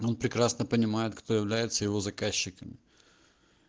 он прекрасно понимаю кто является его заказчиками